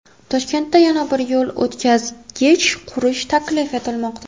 Toshkentda yana bir yo‘l o‘tkazgich qurish taklif etilmoqda.